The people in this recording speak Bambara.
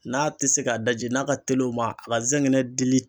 N'a te se k'a daji n'a ka teli o ma a ka zɛgɛnɛ dili